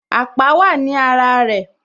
Àpá wá ní ara rẹ